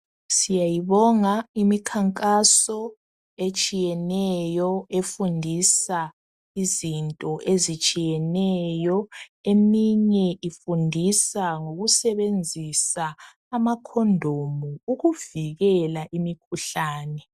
Siyayibonga imikhankaso etshiyeneyo efundisa izinto ezitshiyeneyo. Eminye ifundisa ngokusebenzisa amakhondomu ukuvikela imikhuhlane.